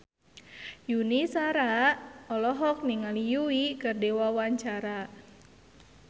Yuni Shara olohok ningali Yui keur diwawancara